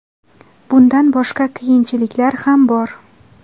Bundan boshqa qiyinchiliklar ham bor.